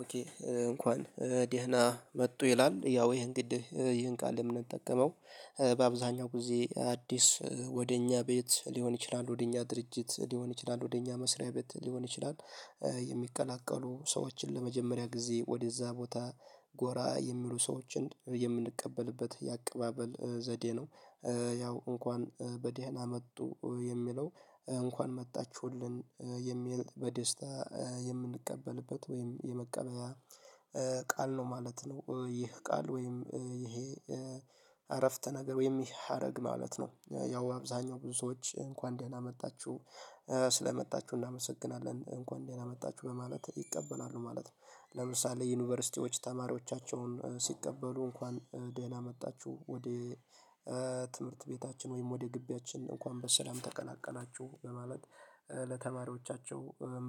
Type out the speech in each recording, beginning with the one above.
ኦኬ እንኳን ደህና መጡ ይላል ያው ይሄን ግድ ይሄን ቃል የምንጠቀመው በአብዛኛው ጊዜ አዲስ ወደ እኛ ቤት ሊሆን ይችላል ወደ እኛ ድርጅት ሊሆን ይችላል ወደ እኛ መስሪያ ቤት ሊሆን ይችላል የሚቀላቀሉ ሰዎችን ለመጀመሪያ ጊዜ ወደዛ ቦታ ጎራ የሚሉ ሰዎችን የምንቀበልበት የአቀባበል ዘዴ ነው ያው እንኳን በደህና መጡ የሚለው እንኳን መጣችሁልን የሚል በደስታ የምንቀበልበት ወይም የመቀበያ ቃል ነው ማለት ነው። ይህ ቃል ወይም ይሄ አረፍተ ነገር ወይም ይሄ ሀረግ ማለት ነው። ያው አብዛኛው ብዙ ሰዎች እንኳን ደህና መጣችሁ ስለመጣችሁ እናመሰግናለን እንኳን ደህና መጣችሁ በማለት ይቀበላሉ ማለት ነው። ለምሳሌ ዩኒቨርሲቲዎች ተማሪዎቻቸውን ሲቀበሉ እንኳን ደህና መጣችሁ ወደ ትምህርት ቤታችን ወይም ወደ ግቢያችን እንኳን በሰላም ተቀላቀላችሁ በማለት ለተማሪዎቻቸው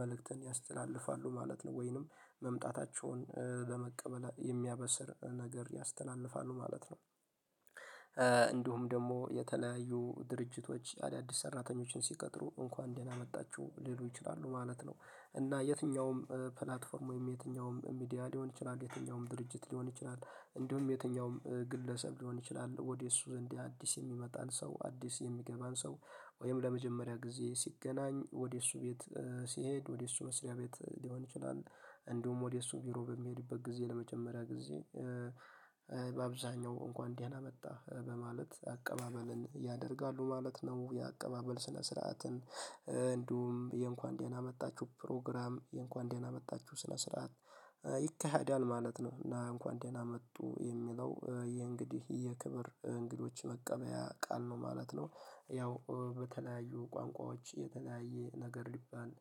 መልእክትን ያስተላልፋሉ ማለት ነው ወይንም መምጣታቸውን በመቀበል የሚያበስር ነገር ያስተላልፋሉ ማለት ነው። እንዲሁም ደግሞ የተለያዩ ድርጅቶች አዳዲስ ሰራተኞችን ሲቀጥሩ እንኳን ደህና መጣችሁ ሊሉ ይችላሉ ማለት ነው። እና የትኛውም ፕላትፎርም ወይም የትኛውም ሚዲያ ሊሆን ይችላል የትኛውም ድርጅት ሊሆን ይችላል እንዲሁም የትኛውም ግለሰብ ሊሆን ይችላል ወደ እሱ ዘንድ አዲስ የሚመጣን ሰው አዲስ የሚገባን ሰው ወይም ለመጀመሪያ ጊዜ ሲገናኝ ወደ እሱ ቤት ሲሄድ ወደ እሱ መስሪያ ቤት ሊሆን ይችላል። እንዲሁም ወደ እሱ ቢሮ በሚሄድበት ጊዜ ለመጀመሪያ ጊዜ በአብዛኛው እንኳን ደህና መጣህ በማለት አቀባበልን ያደርጋሉ ማለት ነው። የአቀባበል ስነ ስርዓትን እንዲሁም የእንኳን ደህና መጣችሁ ፕሮግራም የእንኳን ደህና መጣችሁ ስነ ስርዓት ይካሄዳል ማለት ነው። እና እንኳን ደህና መጡ የሚለው የእንግዲህ የክብር እንግዶች መቀበያ ቃል ነው ማለት ነው። ያው በተለያዩ ቋንቋዎች የተለያየ ነገር ሊባል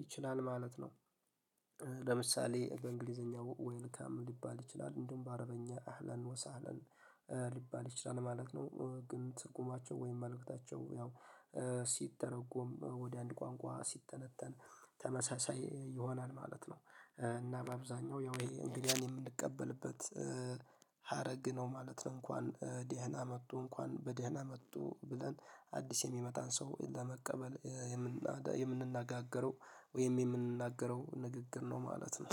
ይችላል ማለት ነው። ለምሳሌ በእንግሊዘኛ ዌልካም ሊባል ይችላል እንደውም በአረበኛ አህለን ወሳህለን ሊባል ይችላል ማለት ነው። ግን ትርጉማቸው ወይም መልእክታቸው ያው ሲተረጎም ወደ አንድ ቋንቋ ሲተነተን ተመሳሳይ ይሆናል ማለት ነው። እና በአብዛኛው ያው ይሄ እንግዳን የምንቀበልበት ሀረግ ነው ማለት ነው። እንኳን ደህና መጡ እንኳን በደህና መጡ ብለን አዲስ የሚመጣን ሰው ለመቀበል የምንናገረው ወይም የምንናገረው ንግግር ነው ማለት ነው።